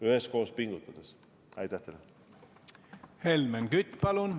Helmen Kütt, palun!